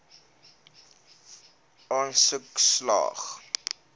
aansoek slaag